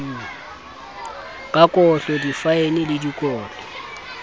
ka kotlo difaene le dikotlo